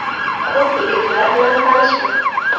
Ko‘p yigitlar bilan tanishman.